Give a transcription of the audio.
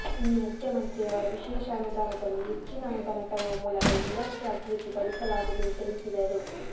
ಇನ್ನೂ ಮುಖ್ಯಮಂತ್ರಿರವರ ವಿಶೇಷ ಅನುದಾನದಲ್ಲಿ ಹೆಚ್ಚಿನ ಅನುದಾನ ತರುವ ಮೂಲಕ ಇನ್ನಷ್ಟು ಅಭಿವೃದ್ಧಿ ಪಡಿಸಲಾಗುವುದು ಎಂದು ತಿಳಿಸಿದರು